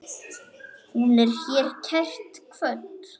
Hún er hér kært kvödd.